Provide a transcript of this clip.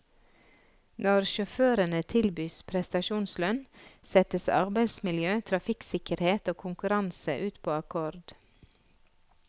Når sjåførene tilbys prestasjonslønn, settes arbeidsmiljø, trafikksikkerhet og konkurranse ut på akkord.